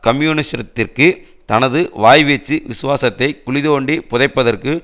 கம்யூனிசத்திற்கு தனது வாய்வீச்சு விசுவாசத்தை குழிதோண்டி புதைப்பதற்கு